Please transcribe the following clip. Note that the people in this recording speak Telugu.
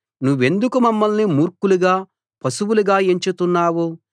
నువ్వెందుకు మమ్మల్ని మూర్ఖులుగా పశువులుగా ఎంచుతున్నావు